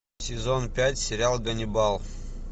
сезон пять сериал ганнибал